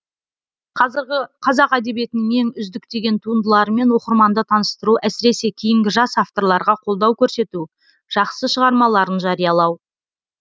қазіргі қазақ әдебиетінің ең үздік деген туындыларымен оқырманды таныстыру әсіресе кейінгі жас авторларға қолдау көрсету жақсы шығармаларын жариялау